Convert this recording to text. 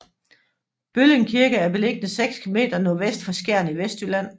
Bølling Kirke er beliggende 6 km nordvest for Skjern i Vestjylland